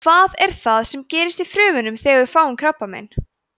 hvað er það sem gerist í frumunum þegar við fáum krabbamein